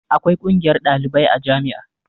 Akwai ƙungiyar ɗalibai a jami'a